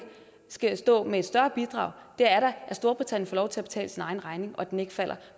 skal stå med et større bidrag er da at storbritannien får lov til at betale sin egen regning og at den ikke falder